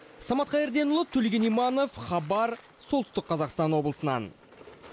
самат қайырденұлы төлеген иманов хабар солтүстік қазақстан облысынан